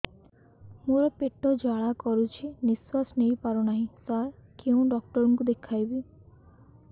ମୋର ପେଟ ଜ୍ୱାଳା କରୁଛି ନିଶ୍ୱାସ ନେଇ ପାରୁନାହିଁ ସାର କେଉଁ ଡକ୍ଟର କୁ ଦେଖାଇବି